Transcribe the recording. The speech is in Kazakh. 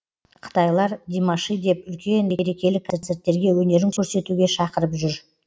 қытайлар димаши деп үлкен мерекелік концерттерге өнерін көрсетуге шақырып жүр